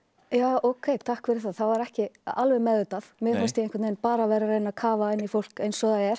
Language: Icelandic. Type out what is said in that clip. ókei takk fyrir það var ekki alveg meðvitað mér fannst ég bara vera að reyna að kafa inn í fólk eins og það er